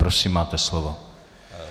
Prosím máte slovo.